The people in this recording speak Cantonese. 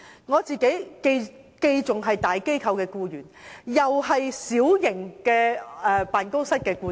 我自己既是大機構的僱員，亦是小型辦公室的僱主。